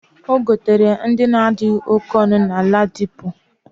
Ogotere ndi adighi oke onu na ladipo.